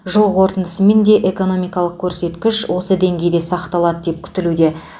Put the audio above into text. жыл қорытындысымен де экономикалық көрсеткіш осы деңгейде сақталады деп күтілуде